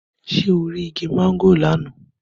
Ṣé o rí igi mángòrò lọ́nà?